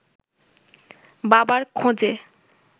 বাবার খোঁজে